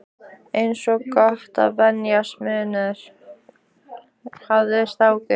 Eins gott að venjast munaðinum, hafði strákur